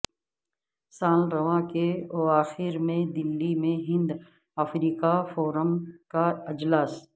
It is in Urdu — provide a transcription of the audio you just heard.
سال رواں کے اواخر میں دہلی میں ہند افریقہ فورم کا اجلاس